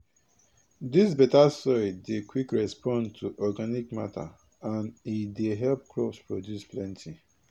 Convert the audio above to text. dis beta soil dey quick respond to organic matter and e dey help crops produce plenty